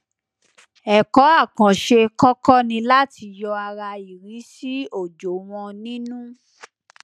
ẹkọ àkànṣe kọkọ ni láti yọ ara ìríṣì òjò wọn nínú